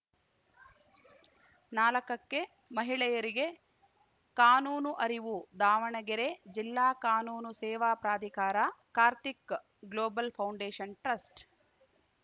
ನಾಲಕಕ್ಕೆ ಮಹಿಳೆಯರಿಗೆ ಕಾನೂನು ಅರಿವು ದಾವಣಗೆರೆ ಜಿಲ್ಲಾ ಕಾನೂನು ಸೇವಾ ಪ್ರಾಧಿಕಾರ ಕಾರ್ತಿಕ್‌ ಗ್ಲೋಬಲ್‌ ಫೌಂಡೇಷನ್‌ ಟ್ರಸ್ಟ್‌